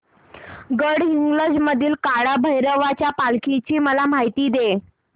गडहिंग्लज मधील काळभैरवाच्या पालखीची मला माहिती दे